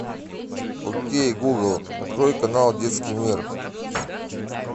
окей гугл открой канал детский мир